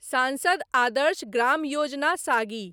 सांसद आदर्श ग्राम योजना सागी